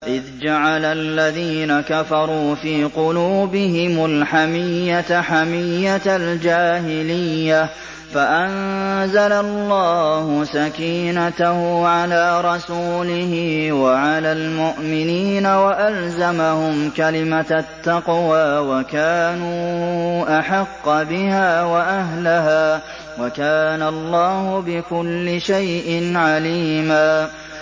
إِذْ جَعَلَ الَّذِينَ كَفَرُوا فِي قُلُوبِهِمُ الْحَمِيَّةَ حَمِيَّةَ الْجَاهِلِيَّةِ فَأَنزَلَ اللَّهُ سَكِينَتَهُ عَلَىٰ رَسُولِهِ وَعَلَى الْمُؤْمِنِينَ وَأَلْزَمَهُمْ كَلِمَةَ التَّقْوَىٰ وَكَانُوا أَحَقَّ بِهَا وَأَهْلَهَا ۚ وَكَانَ اللَّهُ بِكُلِّ شَيْءٍ عَلِيمًا